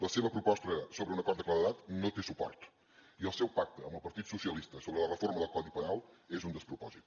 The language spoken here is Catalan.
la seva proposta sobre un acord de claredat no té suport i el seu pacte amb el partit socialista sobre la reforma del codi penal és un despropòsit